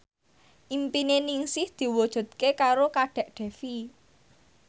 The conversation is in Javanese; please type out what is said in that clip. impine Ningsih diwujudke karo Kadek Devi